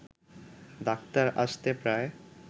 doctor আসতে প্রায়